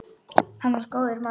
Hann var góður maður.